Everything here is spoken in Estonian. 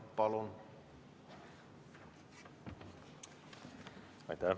Palun!